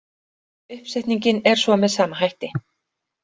Uppsetningin er svo með sama hætti.